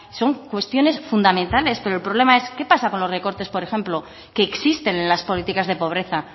son cuestiones fundamentales pero el problema es qué pasa con los recortes por ejemplo que existen en las políticas de pobreza